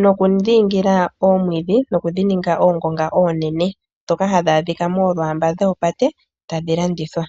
nokudhiingila oomwiidhi, nokudhininga oongonga oonene ndhoka hadhi adhika moolwaamba dhopate tadhi landithwa.